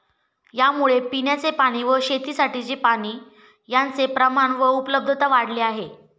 यामुळे पिण्याचे पाणी व शेतीसाठीची पाणी यांचे प्रमाण व उपलब्धता वाढली आहे.